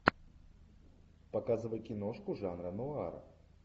показывай киношку жанра нуар